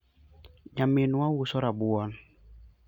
nyaminwa uso rabuon